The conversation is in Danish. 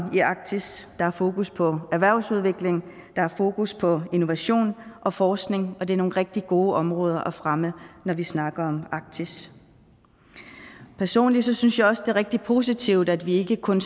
i arktis der er fokus på erhvervsudvikling der er fokus på innovation og forskning og det er nogle rigtig gode områder at fremme når vi snakker arktis personligt synes jeg også det er rigtig positivt at vi ikke kun